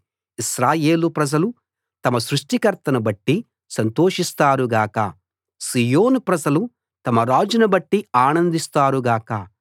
ఇశ్రాయేలు ప్రజలు తమ సృష్టికర్తను బట్టి సంతోషిస్తారు గాక సీయోను ప్రజలు తమ రాజును బట్టి ఆనందిస్తారు గాక